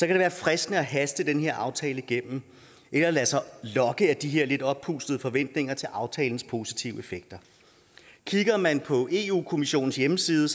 det være fristende at haste den her aftale igennem eller lade sig lokke af de her lidt oppustede forventninger til aftalens positive effekter kigger man på eu kommissionens hjemmeside